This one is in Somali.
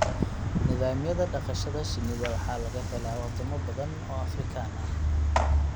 Nidaamyada dhaqashada shinnida waxaa laga helaa wadamo badan oo Afrikaan ah.